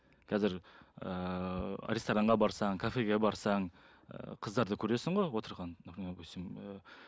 қазір ыыы ресторанға барсаң кафеге барсаң ы қыздарды көресің ғой отырған например допустим ыыы